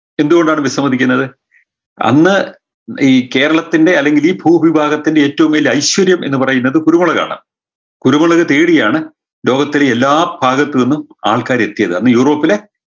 എന്ത്‌ കൊണ്ടാണ് വിസമ്മതിക്കുന്നത് അന്ന് ഈ കേരളത്തിൻറെ അല്ലെങ്കിൽ ഈ ഭൂമിവിഭാഗത്തിൻറെ ഏറ്റവും വലിയ ഐശ്വര്യം എന്ന് പറയുന്നത് കുരുമുളകാണ് കുരുമുളക് തേടിയാണ് ലോകത്തിൻറെ എല്ലാ ഭാഗത്ത് നിന്നും ആൾക്കാർ എത്തിയത് അന്ന് യൂറോപ്പിലെ